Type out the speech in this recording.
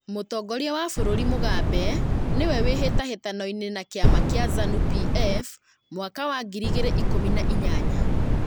Mũtongoria wa bũrũri Mũgabe nĩwe wĩhĩtahĩtano-inĩ na kĩama kĩa Zanu PF mwaka wa ngiri igĩrĩ ikumi na inyanya